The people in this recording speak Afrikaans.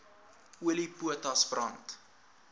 olie potas brand